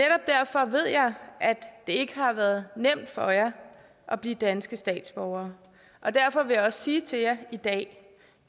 ikke har været nemt for jer at blive danske statsborgere og derfor vil jeg også sige til jer i dag